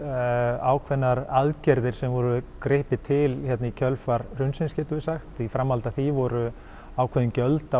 ákveðnar aðgerðir sem var gripið til í kjölfar hrunsins getum við sagt í framhaldi af því voru ákveðin gjöld á